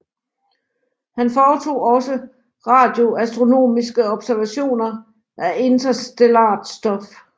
Han foretog også radioastronomiske observationer af interstellart stof